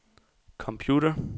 computer